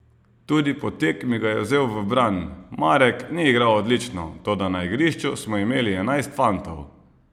Tudi po tekmi ga je vzel v bran: "Marek ni igral odlično, toda na igrišču smo imeli enajst fantov.